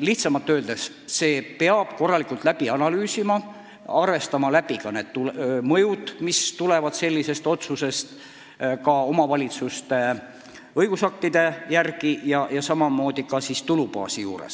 Lihtsamalt öeldes: selle peab korralikult läbi analüüsima, arvestama ka mõjusid, mis tulenevad omavalitsuste õigusaktide kohaselt, ja samamoodi tuleb mõelda tulubaasile,